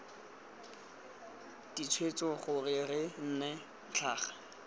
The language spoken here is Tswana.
ditshwetso gore re nna tlhaga